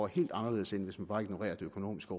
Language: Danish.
helt anderledes end hvis man bare ignorerer det økonomiske